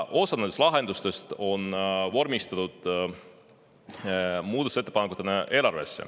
Osa nendest lahendustest on vormistatud eelarve muutmise ettepanekutena.